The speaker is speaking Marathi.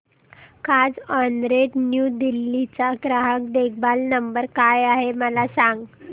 कार्झऑनरेंट न्यू दिल्ली चा ग्राहक देखभाल नंबर काय आहे मला सांग